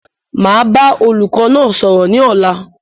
Máa bá olùkọ́ náà sọ̀rọ̀ ni ọ̀la